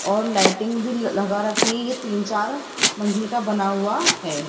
और लाइटिंग भी लगा रखी है तीन चार मंजिल का बना हुआ है।